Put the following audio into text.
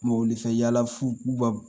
fɛ yala fu baw.